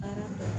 Baara